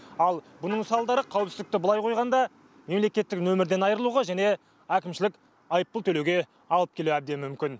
ал бұның салдары қауіпсіздікті былай қойғанда мемлекеттік нөмірден айырылуға және әкімшілік айыппұл төлеуге алып келуі әбден мүмкін